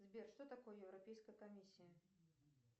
сбер что такое европейская комиссия